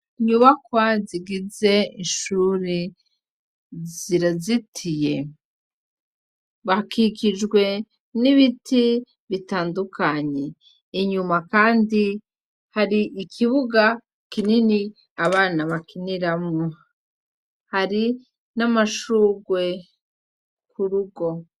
Inyubakwa zigize ishure zirazitiye hakikijwe n' ibiti bitandukanye inyuma kandi hari ikibuga kinini abana bakiniramwo hari n' amashugwe ku rugo.